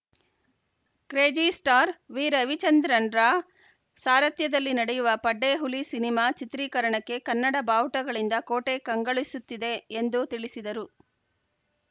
crazy star ವಿರವಿಚಂದ್ರನ್‌ರ ಸಾರಥ್ಯದಲ್ಲಿ ನಡೆಯುವ ಪಡ್ಡೆಹುಲಿ ಸಿನಿಮಾ ಚಿತ್ರೀಕರಣಕ್ಕೆ ಕನ್ನಡ ಬಾವುಟಗಳಿಂದ ಕೋಟೆ ಕಂಗೊಳಿಸುತ್ತಿದೆ ಎಂದು ತಿಳಿಸಿದರು